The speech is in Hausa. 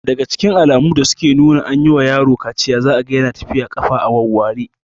Daga cikin alamu da suke nuna an yi wa yaro kaciya za'a Yana tafiya ƙafa a wawware